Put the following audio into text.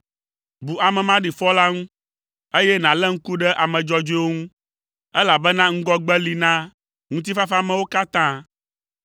Bu ame maɖifɔ la ŋu, eye nàlé ŋku ɖe ame dzɔdzɔewo ŋu, elabena ŋgɔgbe li na ŋutifafamewo katã.